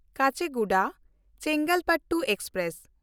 Kacheguda Chengalpattu express